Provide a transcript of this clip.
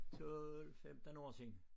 12 15 år siden